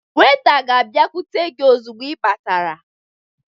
Weta ga-abịakwute gị ozugbo ị batara